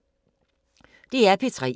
DR P3